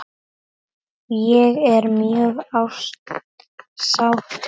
Ég er mjög sáttur.